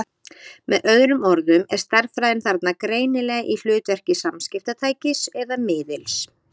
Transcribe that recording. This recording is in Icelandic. Með öðrum orðum er stærðfræðin þarna greinilega í hlutverki samskiptatækis eða-miðils.